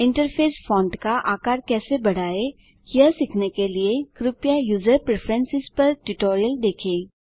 interface font का आकार कैसे बढ़ाएँ यह सीखने के लिए कृपया यूजर प्रिफरेन्सेस पर ट्यूटोरियल देखें